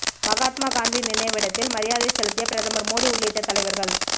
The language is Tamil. மகாத்மா காந்தி நினைவிடத்தில் மரியாதை செலுத்திய பிரதமர் மோடி உள்ளிட்ட தலைவர்கள்